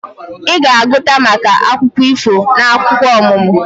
Ị ga-agụta maka akụkọ ifo n'akwụkwọ ọmụmụ